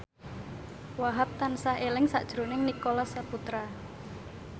Wahhab tansah eling sakjroning Nicholas Saputra